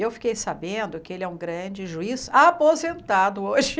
Eu fiquei sabendo que ele é um grande juiz aposentado hoje.